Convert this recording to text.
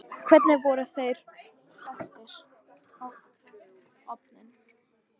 Hvernig voru þeir festir á orfin?